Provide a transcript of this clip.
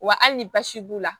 Wa hali ni basi b'u la